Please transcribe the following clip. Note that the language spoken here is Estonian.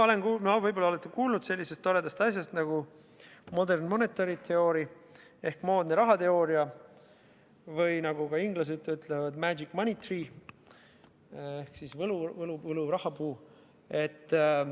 Võib-olla olete kuulnud sellisest toredast asjast nagu modern monetary theory ehk moodne rahateooria või, nagu inglased ütlevad, magic money tree ehk võlurahapuu.